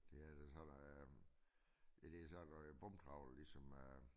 Det hedder den holder øh ja det sådan noget bundtrawl ligesom øh